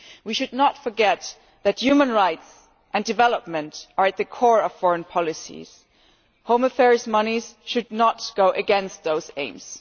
We should not forget that human rights and development are at the core of foreign policy. Home affairs money should not go against those aims.